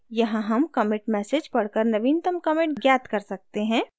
यहाँ हम commit message पढ़कर नवीनतम commit ज्ञात कर सकते हैं